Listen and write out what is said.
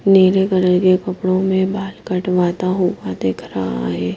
नीले कलर के कपड़ों में बाल कटवाता हुआ दिख रहा है।